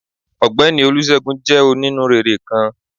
Ọgbẹni Olúsegún jé oní-núréré kán.